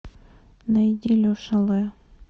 найди леша лэ